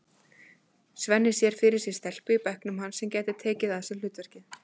Svenni sér fyrir sér stelpu í bekknum hans sem gæti tekið að sér hlutverkið.